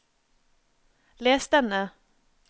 les denne